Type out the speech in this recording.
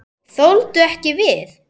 Þoldu ekki við.